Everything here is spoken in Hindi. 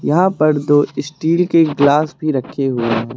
यहां पर दो स्टील के गिलास भी रखे हुए हैं।